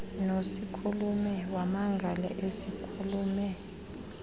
nosikhulume wamangala usikhulume